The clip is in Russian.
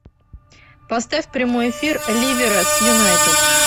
поставь прямой эфир ливера с юнайтед